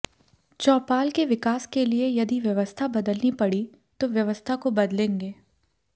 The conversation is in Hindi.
चौपाल के विकास के लिए यदि व्यवस्था बदलनी पड़ी तो व्यवस्था को बदलेंगे